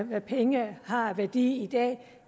hvad penge har af værdi i dag